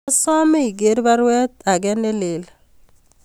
Asame iger baruet age neleel